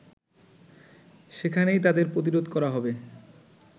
সেখানেই তাদের প্রতিরোধ করা হবে